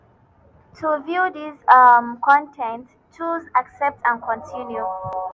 to view dis um con ten t choose 'accept and continue'.